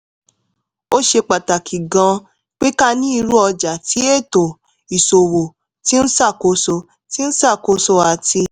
ó ṣe pàtàkì gan-an pé ká ní irú ọjà tí ètò ìṣòwò ti ń ṣàkóso ti ń ṣàkóso àti